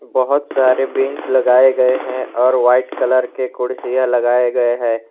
बहुत सारे बेंच लगाए गए हैं और वाइट कलर के कुर्सियां लगाए गए हैं।